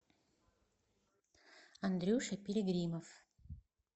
андрюша перегримов